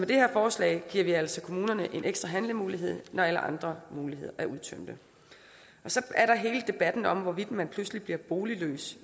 det her forslag giver vi altså kommunerne en ekstra handlemulighed når alle andre muligheder er udtømte så er der hele debatten om hvorvidt man pludselig bliver boligløs